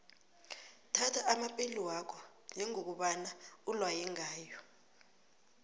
thatha amapeli wakho njengokobana ulaywe ngayo